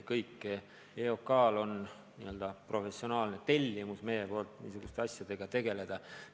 Oleme andnud EOK-le n-ö professionaalse tellimuse niisuguste asjadega tegeleda.